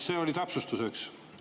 See oli täpsustuseks.